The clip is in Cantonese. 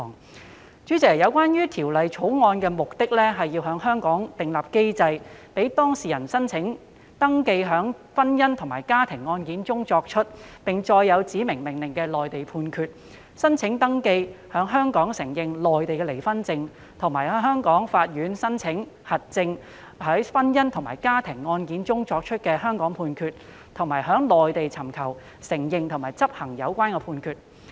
代理主席，《條例草案》的目的，是要在香港訂立機制，讓當事人申請登記在婚姻或家庭案件中作出、並載有指明命令的內地判決，申請登記在香港承認內地離婚證，以及向香港法院申請核證在婚姻或家庭案件中作出的香港判決，並在內地尋求承認和執行有關判決。